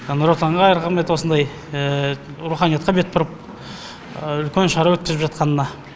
нұр отанға рахмет осындай руханиятқа бет бұрып үлкен шара өткізіп жатқанына